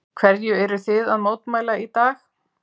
Hverju eruð þið að mótmæla í dag?